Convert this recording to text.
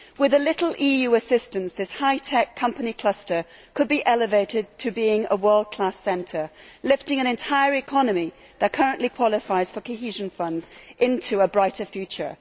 With a little EU assistance, this hi tech company cluster could be elevated to being a world class centre, lifting an entire economy that currently qualifies for cohesion funds into a brighter future.